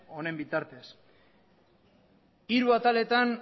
honen bitartez hiru ataletan